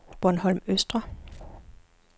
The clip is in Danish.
Bornholm Østre